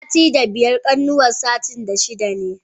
Sitin da biyar kanuwan sitin da shida ne.